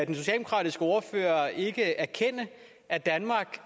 den socialdemokratiske ordfører ikke erkende at danmark